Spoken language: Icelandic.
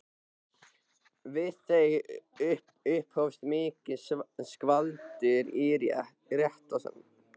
Við þau upphófst mikið skvaldur í réttarsalnum.